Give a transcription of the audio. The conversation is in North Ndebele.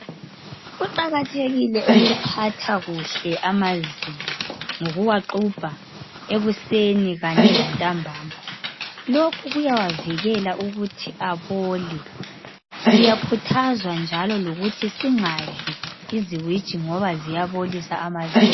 Kuqakathekile ukuphatha kuhle amazinyo, ngokuwaxubha ekuseni kanye lantambama lokhu kuyawavikela ukuthi abole. Siyakhuthazwa njalo ukuthi singadli iziwiji ngoba ziyabolisa amazinyo.